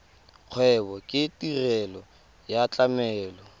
kgwebo ke tirelo ya tlamelo